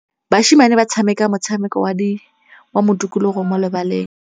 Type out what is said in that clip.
Basimane ba tshameka motshameko wa modikologô mo lebaleng.